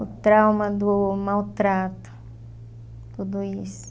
o trauma do maltrato, tudo isso.